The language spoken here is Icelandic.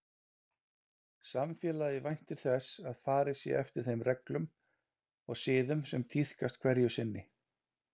Samfélagið væntir þess að farið sé eftir þeim reglum og siðum sem tíðkast hverju sinni.